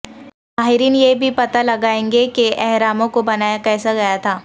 ماہرین یہ بھی پتہ لگائیں گے کہ اہراموں کو بنایا کیسے گیا تھا